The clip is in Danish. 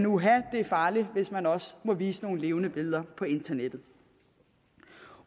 uha det er farligt hvis man også må vise nogle levende billeder på internettet